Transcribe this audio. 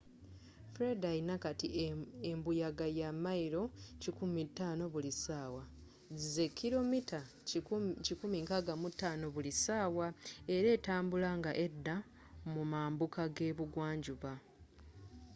fred alina kati embuyaga ya mayiro 105 buli sawa 165km/h era etambula nga edda mu mambuka gebugwa njuba